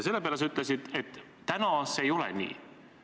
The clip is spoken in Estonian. Selle peale sa ütlesid, et täna see ei ole nii.